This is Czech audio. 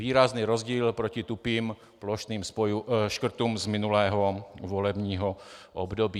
Výrazný rozdíl proti tupým plošným škrtům z minulého volebního období.